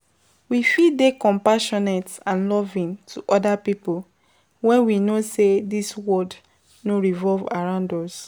We fit dey compassionate and loving to oda pipo when we know sey di world no revolve around us